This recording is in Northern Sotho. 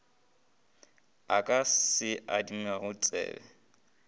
a ka se adimago ditsebe